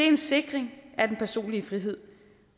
en sikring af den personlige frihed